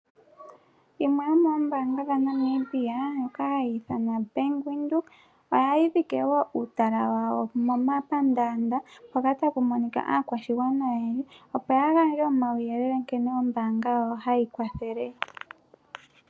Yimwe yo moombanga dha Namibia ndjo ka hayi ithanwa Bank Windhoek. Ohayi dhike wo uutala wawo mo mapandanda mpoka taku monikwa aakwashigwana oyendji opo ya gandje omauyelele nkene Ombanga yawo hayi kwathele.